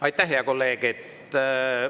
Aitäh, hea kolleeg!